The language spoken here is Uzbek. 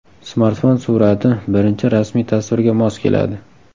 Smartfon surati birinchi rasmiy tasvirga mos keladi.